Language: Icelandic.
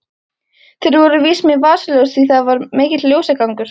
Þeir voru víst með vasaljós því það var mikill ljósagangur.